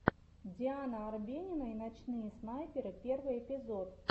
диана арбенина и ночные снайперы первый эпизод